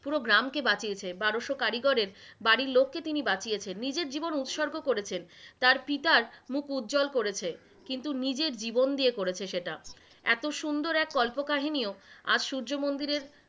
পুরো গ্রামকে বাঁচিয়েছে, বারোশ কারিগরের বাড়ির লোককে তিনি বাঁচিয়েছেন, নিজের জীবন উৎসর্গ করেছেন, তার পিতার মুখ উজ্জল করেছে কিন্তু নিজের জীবন দিয়ে করেছে সেটা, এত সুন্দর এক কল্প কাহিনীও আজ সূর্য মন্দিরের,